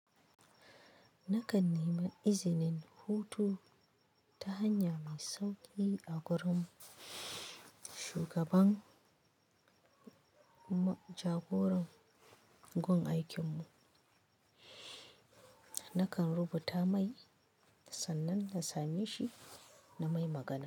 Nakan neman izinin hutu ta hanya mai sauƙi a gurin, shugaban, mu jagoran gun aikinmu. Nakan rubuta mai sannan na same shi na mai magana.